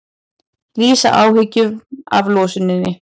Lýsa áhyggjum af losuninni